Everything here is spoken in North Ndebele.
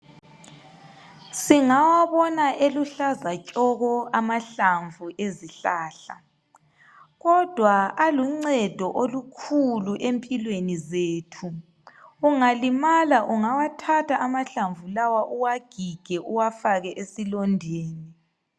Singawabona eluhlaza tshoko amahlamvu ezihlahla kodwa aluncedo olukhulu empilweni zethu ungalimala ungawathatha amahlamvu lawa uwagige uwafake esilondeni .